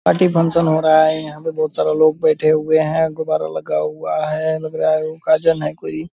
Party function हो रहा है यहाँ पे बहुत सारा लोग बैठे हुए हैं गुब्बारा लगा हुआ है लग रहा है उ का जन है कोई।